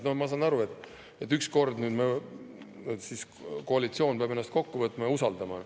Ma saan aru, et üks kord, et nüüd siis koalitsioon peab ennast kokku võtma ja usaldama.